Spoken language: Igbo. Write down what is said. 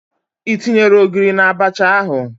Ị tinyere Ogiri na Abacha ahụ?